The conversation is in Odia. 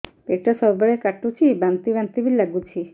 ପେଟ ସବୁବେଳେ କାଟୁଚି ବାନ୍ତି ବାନ୍ତି ବି ଲାଗୁଛି